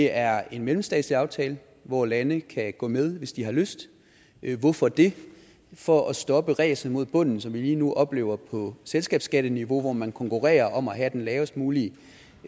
er en mellemstatslig aftale hvor lande kan gå med hvis de har lyst hvorfor det for at stoppe ræset mod bunden som vi lige nu oplever på selskabsskatteniveau hvor man konkurrerer om at have det lavest mulige